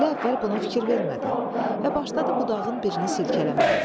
Əli əvvəl buna fikir vermədi və başladı budağın birini silkələməyə.